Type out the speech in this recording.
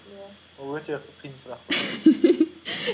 иә ол өте қиын сұрақ